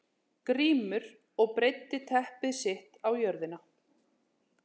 Grímur og breiddi teppi sitt á jörðina.